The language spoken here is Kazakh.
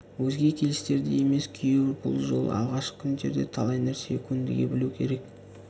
өзге келістердей емес күйеу бұл жолы алғашқы күндерде талай нәрсеге көндіге білу керек